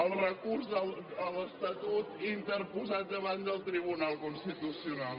el recurs a l’estatut interposat davant del tribunal constitucional